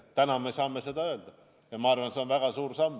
Täna me saame seda öelda ja ma arvan, et see on väga suur samm.